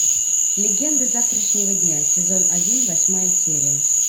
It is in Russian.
легенды завтрашнего дня сезон один восьмая серия